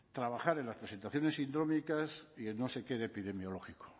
trabajar en las presentaciones sindrómicas y en no sé qué de epidemiológico